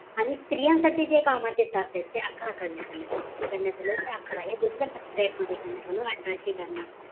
आणि स्त्रियांसाठी जे कामाचे तास आहेत ते अकरा करण्यात आले होते किती करण्यात आले होते अकरा हे दुसरं साप्ताहिक मध्ये करण्यात आलं अकराशे ब्यान्नऊ